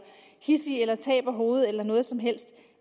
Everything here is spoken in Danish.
hidsig eller taber hovedet eller noget som helst